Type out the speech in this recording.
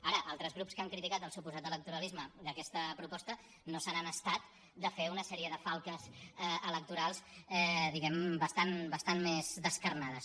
ara altres grups que han criticat el suposat electoralisme d’aquesta proposta no se n’han estat de fer una sèrie de falques electorals diguem ne bastant més descarnades